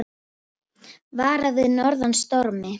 Varað við norðan stormi